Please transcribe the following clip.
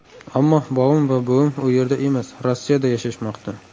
Ammo bobom va buvim u yerda emas, Rossiyada yashashmoqda.